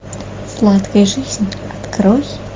сладкая жизнь открой